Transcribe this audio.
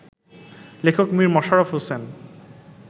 লেখক মীর মশাররফ হোসেন